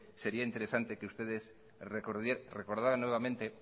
sería interesante que ustedes recordaran nuevamente